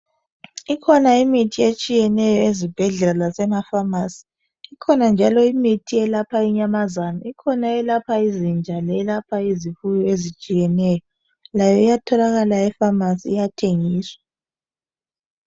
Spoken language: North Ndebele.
Ikhona imithi etshiyeneyo ezibhedlela lasemafamasi, ikhona njalo imithi eyelapha inyamazana, ikhona eyelapha izinja leyelapha izifuyo ezitshiyeneyo layo iyatholakala efamasi iyathengiswa.